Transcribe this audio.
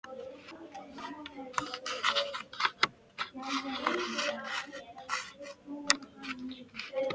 Gerður hlaut að vera þarna einhvers staðar.